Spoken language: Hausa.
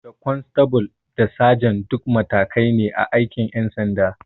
Da kwanstabul da sajan duk matakai ne a aikin ƴan sanda